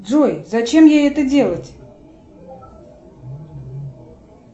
джой зачем ей это делать